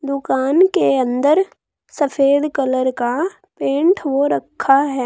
दुकान के अंदर सफेद कलर का पेंट हो रखा है।